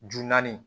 Ju naani